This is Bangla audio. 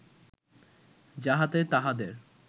যাহাতে তাঁহাদের